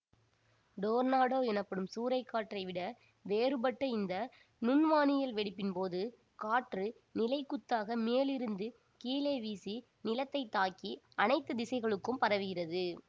tornado எனப்படும் சூறைக்காற்றை விட வேறுபட்ட இந்த நுண்வானியல் வெடிப்பின் போது காற்று நிலைக்குத்தாக மேலிருந்து கீழே வீசி நிலத்தை தாக்கி அனைத்து திசைகளுக்கும் பரவுகிறது